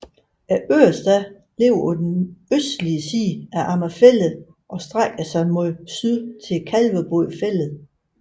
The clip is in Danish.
Ørestad ligger på den østlige side af Amager Fælled og strækker sig mod syd til Kalvebod Fælled